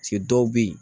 Se dɔw bɛ yen